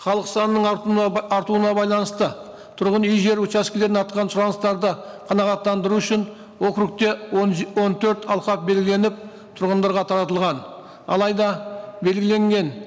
халық санының артуына артуына байланысты түрғын үй жер учаскілеріне сұраныстарды қанағаттандыру үшін округте он он төрт алқап белгіленіп тұрғындарға таратылған алайда белгіленген